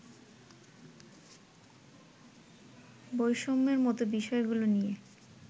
বৈষম্যের মতো বিষয়গুলো নিয়ে